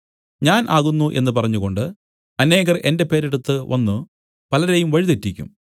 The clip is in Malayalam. ഞാൻ ആകുന്നു എന്നു പറഞ്ഞുകൊണ്ട് അനേകർ എന്റെ പേരെടുത്തു വന്നു പലരെയും വഴിതെറ്റിക്കും